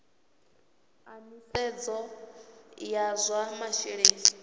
a nisedzo ya zwa masheleni